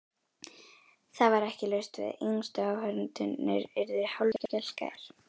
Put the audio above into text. Það var ekki laust við að yngstu áhorfendurnir yrðu hálfskelkaðir.